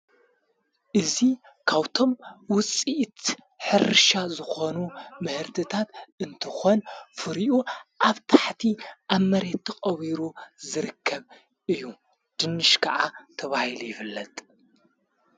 እዙይ ካውቶም ውፂእት ሕርሻ ዝኾኑ መህርትታት እንትኾን ፍሪዩ ኣብ ታሕቲ ኣመሬትቶቐቢሩ ዘርከብ እዩ ድንሽ ከዓ ተባይል ይፈለጥ።